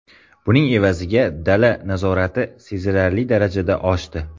Buning evaziga dala nazorati sezilarli darajada oshdi.